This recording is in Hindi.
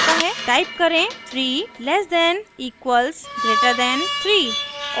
टाइप करें 3 less than equals greater than 3